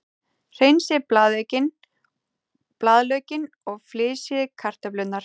Hreinsið blaðlaukinn og flysjið kartöflurnar.